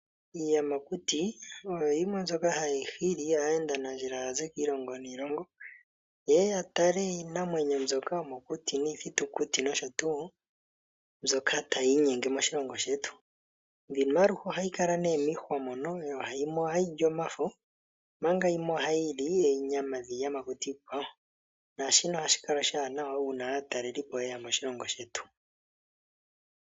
Iiyamakuti oyo yimwe mbyoka hayihili ayenda nandjila yaze kiilongo niilongo yeye yatale iinamwenyo mbyoka yomokuti niithitukuti nosho tu mbyoka tayinyenge moshilongo shetu, mbino aluhe ohayikala ne moluhwa mono yimwe oha yili omafo omanga yimwe ohayili eenyama dhiyamakuti ikwawo nashino ohashikala oshanawa una atalelipo yeya moshilongo shetu.